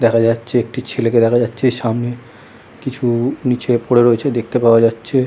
দেখা যাচ্ছে একটি ছেলে কে দেখা যাচ্ছে সামনে কিছু নিচে পরে রয়েছে দেখতে পাওয়া যাচ্ছে ।